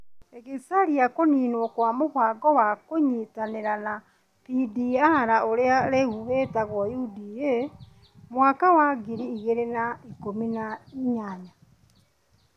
ĩgĩcaria kũniinwo kwa mũbango wa kũnyitanĩra na PDR, ũrĩa rĩu wĩtagwo UDA, mwaka wa ngiri igĩrĩ na ikũmi nĩ inyanya.